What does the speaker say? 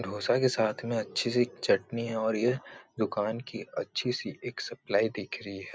डोसा के साथ में अच्छी सी चटनी है और ये दुकान की अच्छी सी एक सप्लाई दिख रही है।